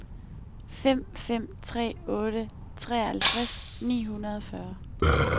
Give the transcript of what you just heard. fem fem tre otte treoghalvtreds ni hundrede og fyrre